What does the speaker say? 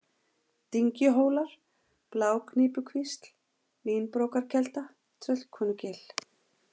Dyngjuhólar, Blágnípukvísl, Línbrókarkelda, Tröllkonugil